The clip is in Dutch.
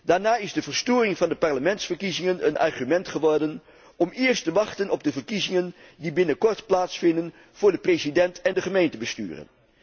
Daarna is de verstoring van de parlementsverkiezingen een argument geworden om eerst te wachten op de verkiezingen die binnenkort plaatsvinden voor de president en de gemeentebesturen.